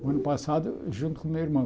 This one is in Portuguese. O ano passado junto com meu irmão.